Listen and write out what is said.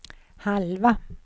halva